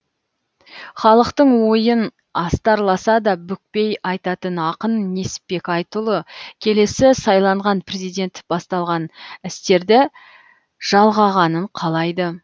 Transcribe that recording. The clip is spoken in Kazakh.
халықтың ойын астарласа да бүкпей айтатын ақын несіпбек айтұлы келесі сайланған президент басталған істерді жалғағанын қалайды